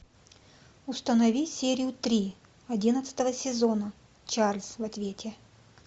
установи серию три одиннадцатого сезона чарльз в ответе